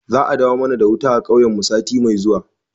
Za a dawo mana da wuta a kauyen mu sati mai zuwa